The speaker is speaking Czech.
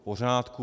V pořádku.